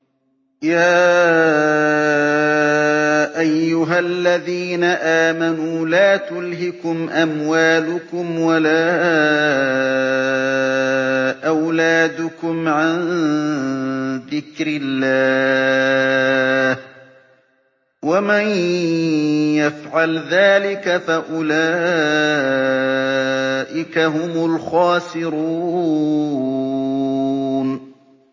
يَا أَيُّهَا الَّذِينَ آمَنُوا لَا تُلْهِكُمْ أَمْوَالُكُمْ وَلَا أَوْلَادُكُمْ عَن ذِكْرِ اللَّهِ ۚ وَمَن يَفْعَلْ ذَٰلِكَ فَأُولَٰئِكَ هُمُ الْخَاسِرُونَ